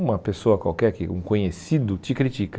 Uma pessoa qualquer que, um conhecido, te critica.